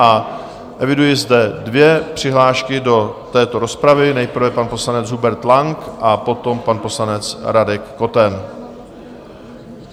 A eviduji zde dvě přihlášky do této rozpravy, nejprve pan poslanec Hubert Lang a potom pan poslanec Radek Koten.